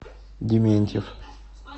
дементьев